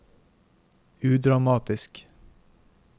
udramatisk